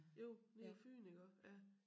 Jo nede på fyn iggå ja